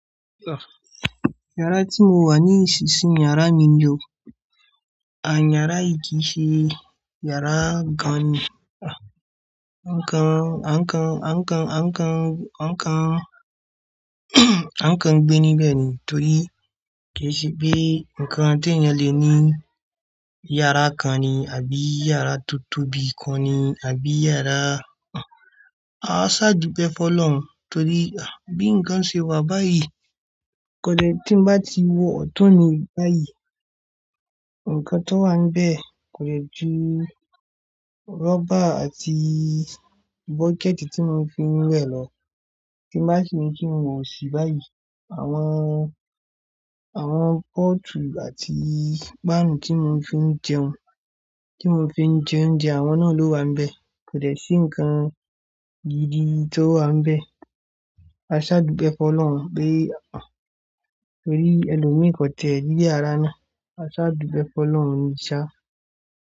Yàrá tí mo wà nísinsìnyí yàrá mi ni o, à yàrá yìí kì í ṣe yàrá nǹkan, nǹkan, nǹkan, nǹkan, nǹkan, nǹkan gbé níbẹ̀ ni torí kì í ṣe bi nǹkan tí èèyàn lè ní yàrá kan ni àbí yàrá tó tóbi kan ni àbí yàrá-- a sá dùbẹ́ f'ọ́lọ́run torí a bí nǹkan ṣe wà báyìí kò lè tí n bá ti wọ ọ̀tọ̀ ni báyìí. Ǹkan tó wà níbẹ̀ kò lè ju rọ́bà àti bọ́kẹ̀ẹ̀tì tí mò ń fi ń wẹ̀ lọ. Tí bá sì ń fún wọ̀sì báyìí àwọn, àwọn pọ́ọ̀tù àti páànù tí mò ń fi ń jẹun, tí mò ń fi ń jẹ oúnjẹ àwọn náà ló wà níbẹ̀. Kò dẹ sí nǹkan gidi tó wà nbẹ̀. A sá dùpẹ́ f'ọ́lọ́run pé torí ẹlòmíràn kò tẹ́ ìyàrá náà. A sá dùpẹ́ f'ọ́lọ́run ní ṣá.